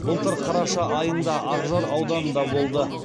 былтыр қараша айында ақжар ауданында болды